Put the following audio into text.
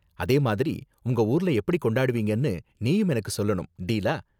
அதே மாதிரி உங்க ஊர்ல எப்படி கொண்டாடுவீங்கன்னு நீயும் எனக்கு சொல்லணும். டீலா?